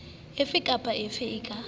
efe kapa efe e ka